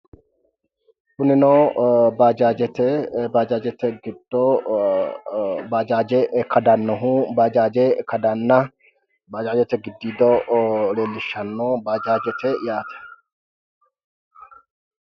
Kunino bajajete gido bajaje kadanohu bajaaje kadana bajajete gidiido leelishano bajajete yaate